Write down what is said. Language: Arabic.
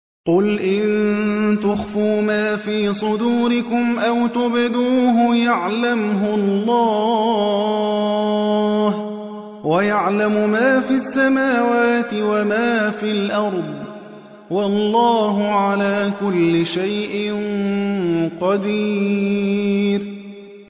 قُلْ إِن تُخْفُوا مَا فِي صُدُورِكُمْ أَوْ تُبْدُوهُ يَعْلَمْهُ اللَّهُ ۗ وَيَعْلَمُ مَا فِي السَّمَاوَاتِ وَمَا فِي الْأَرْضِ ۗ وَاللَّهُ عَلَىٰ كُلِّ شَيْءٍ قَدِيرٌ